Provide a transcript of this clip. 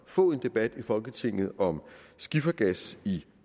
få en debat i folketinget om skifergas i